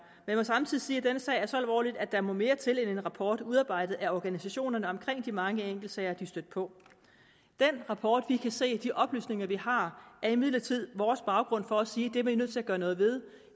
jeg må samtidig sige at denne sag er så alvorlig at der må mere til end en rapport udarbejdet af organisationerne omkring de mange enkeltsager de er stødt på den rapport vi kan se og de oplysninger vi har er imidlertid vores baggrund for at sige det er vi nødt til at gøre noget ved